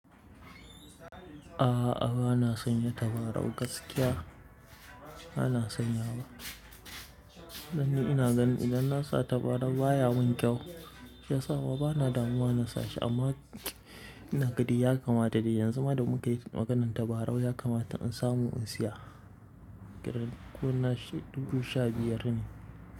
A'a, bana sanya tabarau gaskiya ba na sanyawa. Dan ni ina ganin idan na sa tabarau baya mun kyau. Shi yasa ma bana damuwa na sa shi amma ina ga dai ya kamata dai yanzu ma da mukai maganar tabarau ya kamata in samu in siya. Kirar kurna dubu sha biyar ne.